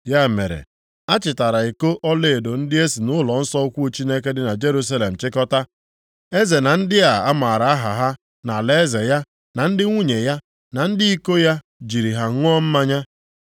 Ya mere, a chịtara iko ọlaedo ndị e si nʼụlọnsọ ukwu Chineke dị na Jerusalem chịkọta. Eze na ndị a mara aha ha nʼalaeze ya na ndị nwunye ya na ndị iko ya jiri ha ṅụọ mmanya.